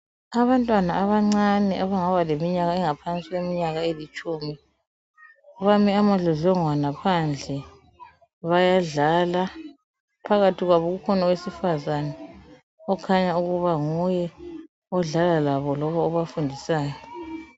Abantwana abancane abangaba leminyaka engaphansi kweminyaka elitshumi bame amadlodlongwana phandle bayadlala. Phakathi kwabo kukhona owesifazana okhanya ukuba nguye odlala labo loba obafundisayo.